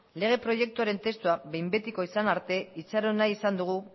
lege proiektuaren testua behin betikoa izan arte itxaron nahi izan dugu